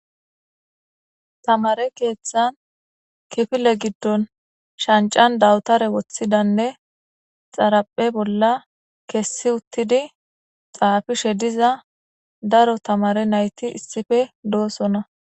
Tamare keeththan kifile giddon shancan dawutare woththidanne xaraphe bolla kessi uttidi xaafishe diza daro tamare nayti issife doosona.